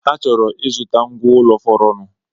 Ha chọrọ ịzụta ngwa ụlọ fọrọnụ